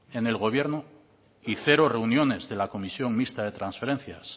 en el gobierno y cero reuniones de la comisión mixta de transferencias